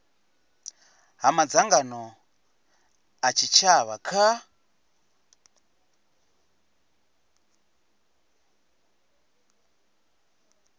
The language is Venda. ha madzangano a tshitshavha kha